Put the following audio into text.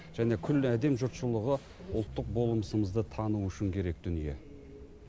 және күллі әлем жұртшылығы ұлттық болмысымызды тануы үшін керек дүние